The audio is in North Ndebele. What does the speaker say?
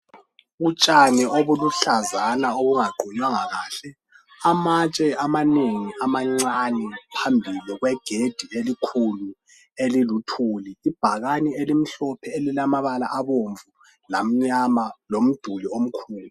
Utshani obuluhlazana obungaqunywanga kahle amatshe amanengi amancane phambili kwegedi elikhulu eliluthuli ibhakane elimhlophe elilamabala abomvu lamnyama lomduli omkhulu.